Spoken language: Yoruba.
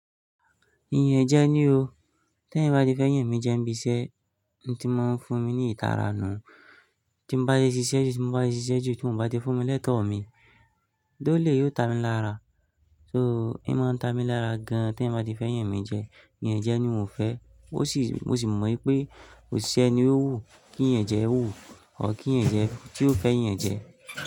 Iyẹn jẹ ní o. Tẹ́ yan bá ti fẹ́ yàn mi jẹ, ńi bí iṣẹ́ oun tí mo ń fún mi ní ìtara nù. Tí mo bá ti ṣiṣẹ́ jù, tí mo bá ti ṣiṣẹ́ jù, tí mo bá ti fún mi lẹ́tọ̀ọ́ mi, dóulé yóò ta mi lára. So, ẹ máa ń ta mi lára gan. Tẹ́hin bá ti fẹ́ yàn mi jẹ, iyẹn jẹ ní mi o fẹ́. Mo sì, mo sì mọ ì pé kòṣi e ni ó wù kí ìyẹn jẹ wù, ọ̀ kí ìyẹn jẹ tí ó fẹ́ ìyẹn jẹ.